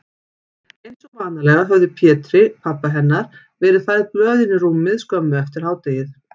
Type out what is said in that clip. Einsog vanalega höfðu Pétri, pabba hennar, verið færð blöðin í rúmið skömmu eftir hádegið.